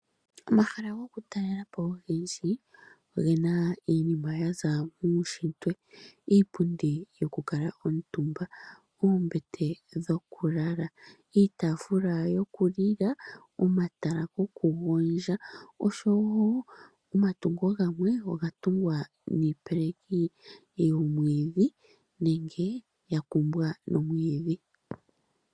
Omahala gokutalelapo ogendji ogena iinima yaza muushitwe , iipundi yokukala omutumba, oombete dhokulala, iitaafula yokulila, omatala gokugondja oshowoo omatungo gamwe ogatungwa niipeleki yomwiidhi nenge yakumbwa nomwiidhi.